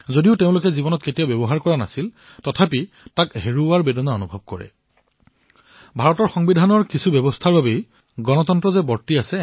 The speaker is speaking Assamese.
এয়া তেওঁলোকৰ জীৱনত কেতিয়াও প্ৰয়োগ হোৱা নাছিল যদিও সেয়া কাঢ়ি লোৱাৰ ফলত যি বেদনা তেওঁলোকৰ হৃদয়ত হৈছিল আৰু এইবাবে নহয় যে ভাৰতৰ সংবিধানত এনে কিছুমান ব্যৱস্থা আছে যাৰ বাবে গণতন্ত্ৰ আছে